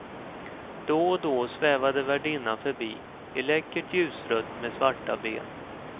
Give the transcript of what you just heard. Då och då svävade värdinnan förbi, i läckert ljusrött med svarta ben.